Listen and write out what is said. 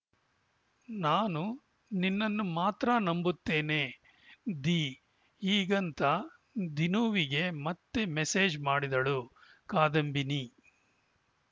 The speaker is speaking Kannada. ನಾನು ನಿನ್ನನ್ನು ಮಾತ್ರ ನಂಬುತ್ತೇನೆ ದಿ ಹೀಗಂತ ದಿನೂವಿಗೆ ಮತ್ತೆ ಮೆಸೇಜ್‌ ಮಾಡಿದಳು ಕಾದಂಬಿನಿ